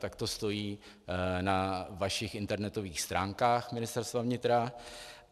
Tak to stojí na vašich internetových stránkách Ministerstva vnitra.